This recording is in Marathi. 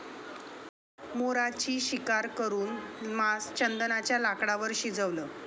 मोराची शिकार करून मांस चंदनाच्या लाकडांवर शिजवलं